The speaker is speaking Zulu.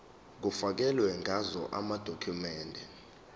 kufakelwe ngazo amadokhumende